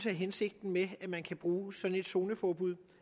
er hensigten med at man kan bruge sådan et zoneforbud